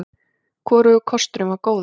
Hvorugur kosturinn var góður.